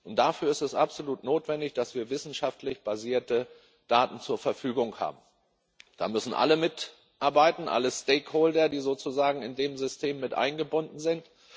Und dafür ist es absolut notwendig, dass wir wissenschaftlich basierte Daten zur Verfügung haben. Da müssen alle mitarbeiten, alle Stakeholder, die sozusagen in dem System mit eingebunden sind.